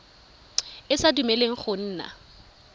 e sa dumeleleng go nna